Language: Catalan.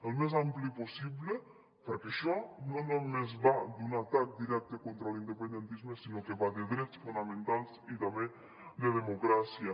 el més ampli possible perquè això no només va d’un atac directe contra l’independentisme sinó que va de drets fonamentals i també de democràcia